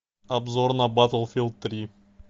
обзор на батлфилд три